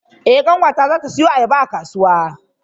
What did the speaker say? Eh ƙanwata zata siyo ayaba a kasuwa.